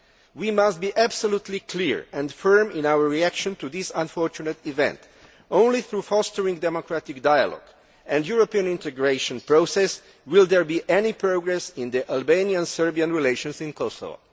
We must be absolutely clear and firm in our reaction to this unfortunate event. Only through fostering democratic dialogue and the European integration process will there be any progress in Albanian Serbian relations in Kosovo.